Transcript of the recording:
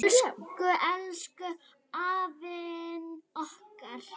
Elsku, elsku afinn okkar.